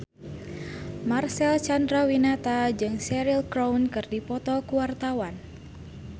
Marcel Chandrawinata jeung Cheryl Crow keur dipoto ku wartawan